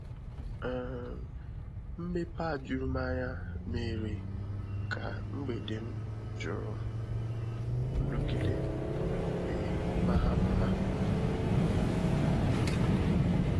um Mmepe a juru m anya méérè ka mgbèdè m juru um nrụgide wee maa mma um nke ukwuu. ukwuu.